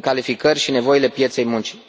calificări și nevoile pieței muncii.